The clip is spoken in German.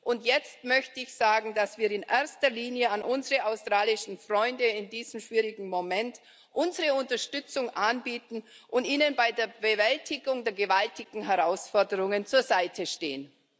Und jetzt möchte ich sagen, dass wir in erster Linie unseren australischen Freunden in diesem schwierigen Moment unsere Unterstützung anbieten und ihnen bei der Bewältigung der gewaltigen Herausforderungen zur Seite stehen.